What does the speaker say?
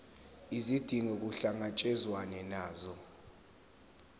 izidingo kuhlangatshezwane nazo